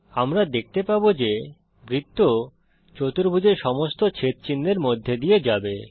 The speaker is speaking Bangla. আমরা দেখতে পাবো যে বৃত্ত চতুর্ভুজের সমস্ত ছেদচিহ্নের মধ্যে দিয়ে যাবে